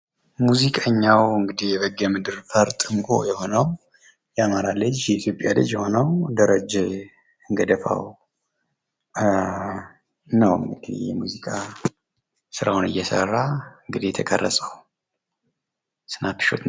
ሙዚቀኛው እንግዲህ የቤጌምድር ፈርጥ እንቁ የሆነው የአማራ ልጅ፣ የኢትዮጵያ ልጅ የሆነው ደረጀ ገደፋው ነው። የሙዚቃ ስራውን እየሰራ እንግዲህ የተቀረጸው።